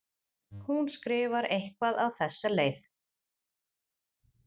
Hún skrifar eitthvað á þessa leið